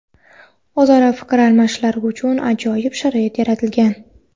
o‘zaro fikr almashishlari uchun ajoyib sharoit yaratilgan.